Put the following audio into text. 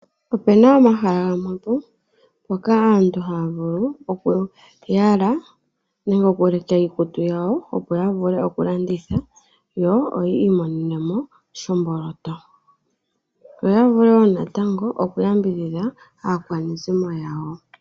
Opuna omahala gamwepo moka aantu haya vulu okuyala, nenge okuleka iikutu yawo, opo yavule okulanditha, yo oyii monenemo shomboloto, yo yavule wo natango oku yambidhidha aakwanezimo yawo.